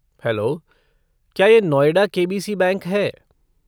Hello, क्या ये Noida KBC. Bank है?